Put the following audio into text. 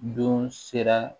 Don sera